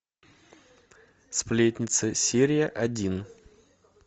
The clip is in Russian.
сплетница серия один